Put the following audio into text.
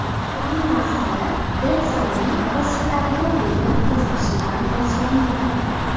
Hammasi Detslning qo‘shiqlariga bo‘lgan qiziqishidan boshlangan.